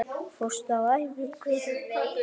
Fórstu á æfingu?